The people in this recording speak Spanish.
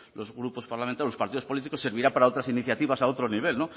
los grupos parlamentarios los partidos políticos servirá para otras iniciativas a otro nivel